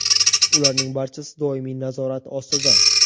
Ularning barchasi doimiy nazorat ostida.